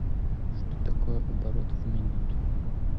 что такое оборот в минуту